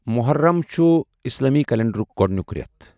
مُحرم چھُ اِسلٲمی کؠلنٛڈَرُک گۄڈنیُٛک رؠتھ ۔